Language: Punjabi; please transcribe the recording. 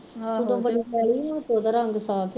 ਤੇ ਉਹਦਾ ਰੰਗ ਸਾਫ ਆ